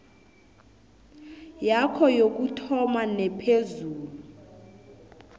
yakho yokuthoma nephezulu